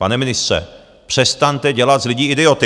Pane ministře, přestaňte dělat z lidí idioty!